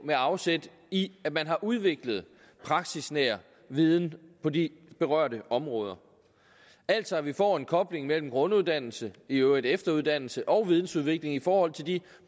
med afsæt i at man har udviklet praksisnær viden på de berørte områder altså at vi får en kobling mellem grunduddannelse i øvrigt også efteruddannelse og vidensudvikling i forhold til de